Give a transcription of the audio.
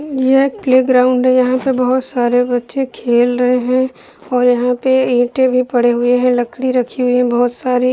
यह एक प्लेग्राउंड है | यहां पे बहोत सारे बच्चे खेल रहे है और वहाँ पे ईंटें भी पड़े हुए है लकड़ी रखी हुई है बहोत सारी --